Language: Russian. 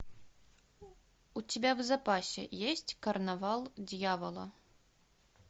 у тебя в запасе есть карнавал дьявола